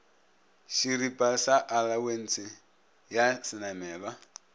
šeripa sa alawense ya šenamelwa